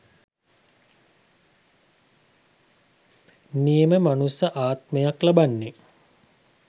නියම මනුස්ස ආත්මයක් ලබන්නේ